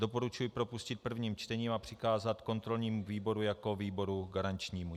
Doporučuji propustit prvním čtením a přikázat kontrolnímu výboru jako výboru garančnímu.